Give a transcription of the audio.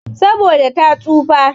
Saboda ta tsufa.